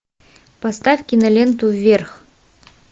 поставь киноленту вверх